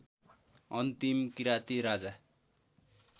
अन्तिम किराँती राजा